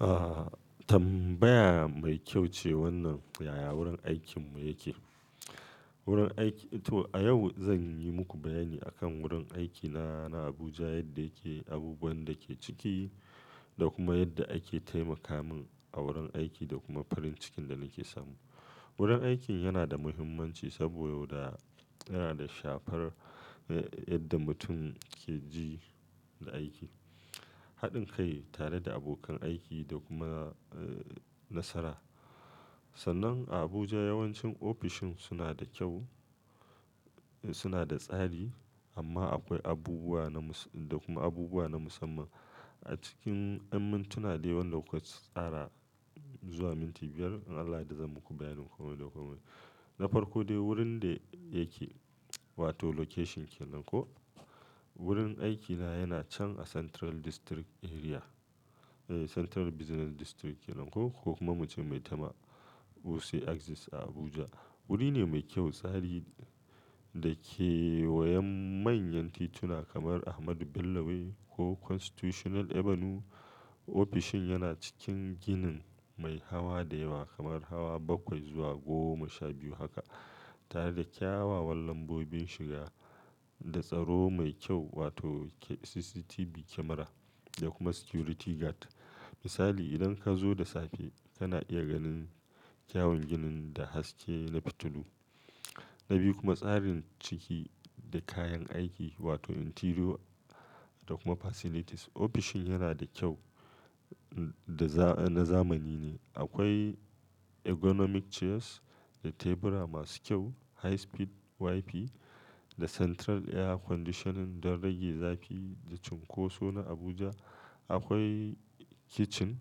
Ah tambaya mai kyau ce wannan yaya wurin aikinmu yake. Wurin aiki to a yau zan yi muku bayani akan wurin aikina na Abuja yadda yake, abubuwan da ke ciki da kuma yadda ake taimaka min a wurin aiki da kuma farin cikin da nake samu. Wurin aiki yana da muhimmanci saboda yana da shafar eh yadda mutum ke ji da aiki, haɗin kai tare da abokan aiki da kuma eh nasara. Sannan a Abuja yawancin ofishin suna da kyau suna da tsari amma akwai abubuwa na mus da kuma abubuwa na musamman. A cikin in mintuna dai wan da kuka tsara zuwa minti biyar in Allah ya yarda zan muku bayanin komai da komai. Na farko dai wurin da yake wato location kenan ko wurin aikina yana can a Central District Area, eh Central Business District kenan ko ko kuma muce maitama Wuse Access a Abuja. Wuri ne mai kyau, tsari da ke wayen manyan tituna kamar Ahmadu Bello Way ko Constitutional Avenue. Ofishin yana cikin ginin mai hawa da yawa kamar hawa bakwai zuwa goma sha biyu haka tare da kyawawan lambobin shiga da tsaro mai kyau wato CCTV camera da kuma security guard. Misali idan ka zo da safe kana iya ganin kyawun ginin da haske na fitilu. Na biyu kuma tsarin ciki da kayan aiki wato interior da kuma facilities. Ofishin yana da kyau da na zamani ne. Akwai ergonomic chairs da tebura masu kyau, high speed Wi-Fi da central air conditioning don rage zafi da cunkoso na Abuja. Akwai kitchen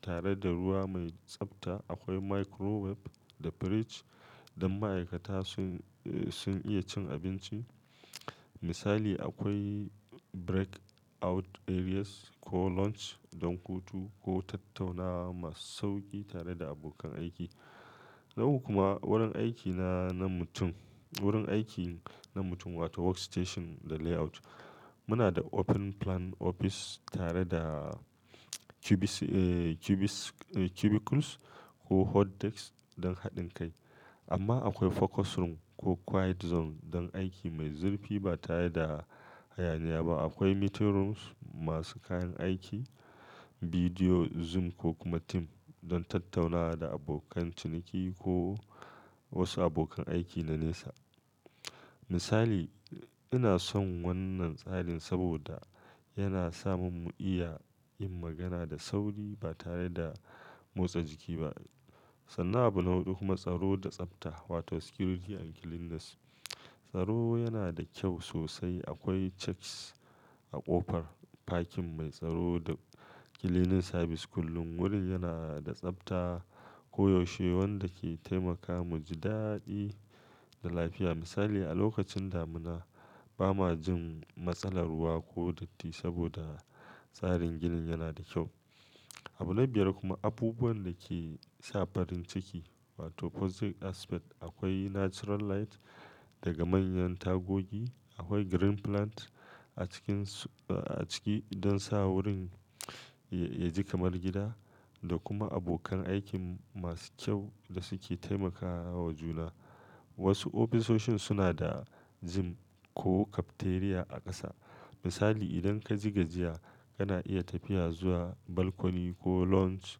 tare da ruwa mai tsabta. Akwai microwave da fridge don ma'aikata sun iya cin abinci. Misali akwai breakout areas ko lounge don hutu ko tattaunawa masu sauƙi tare da abokan aiki. Nawa kuma wurin aikina na mutum wurin aiki na mutum wato workstation da layout. Muna da open plan office tare da cubicic eh cubicicles ko hotdesks don haɗin kai amma akwai focus room ko quiet zone don aiki mai zurfi ba tare da hayaniya ba. Akwai meeting rooms masu kayan aiki, bidiyo zoom ko kuma team don tattaunawa da abokan ciniki ko wasu abokan aiki na nesa. Misali ina son wannan tsarin saboda yana samun mu iya yin magana da sauri ba tare da motsa jiki ba. Sannan a bu na hudu kuma tsaro da tsabta wato security and cleanliness. Tsaro yana da kyau sosai. Akwai checks a ƙofar, parking mai tsaro da cleaning service kullum. Wurin yana da tsabta koyaushe wanda ke taimaka mu ji daɗi da lafiya. Misali a lokacin damuna ba ma jin matsalar ruwa ko datti saboda tsarin ginin yana da kyau. A bu na biyar kuma abubuwan da ke sa farin ciki wato positive aspect. Akwai natural light daga manyan tagogi. Akwai green plant a cikin a ciki don sa wurin ya ya ji kamar gida da kuma abokan aikin masu kyau da suke taimakawa juna. Wasu ofisoshin suna da gym ko cafeteria a ƙasa. Misali idan ka jiga jiya kana iya tafiya zuwa balcony ko lounge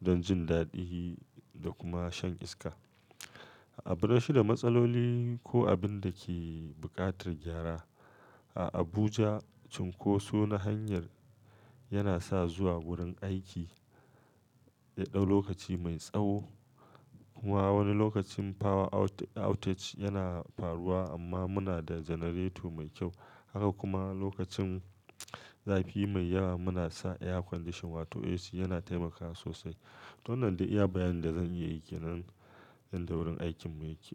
don jin daɗi da kuma shan iska. A bu na shida matsaloli ko abin da ke buƙatar gyara. A Abuja cunkoso na hanyar yana sa zuwa wurin aiki yaɗau lokaci mai tsawo. Kuma wani lokacin power outage yana faruwa amma muna da generator mai kyau. Haka kuma lokacin zafi mai yawa muna sa air condition wato AC yana taimakawa sosai. To wannan dai iya bayanin da zan iya yi ke nan yanda wurin aikinmu yake.